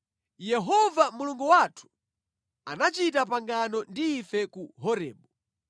Yehova Mulungu wathu anachita pangano ndi ife ku Horebu.